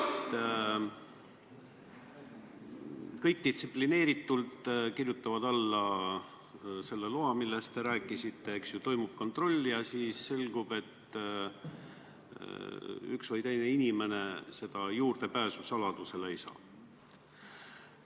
Kõik kirjutavad distsiplineeritult alla sellele loale, millest te rääkisite, eks, siis toimub kontroll ja selgub, et üks või teine inimene saladusele juurdepääsu ei saa.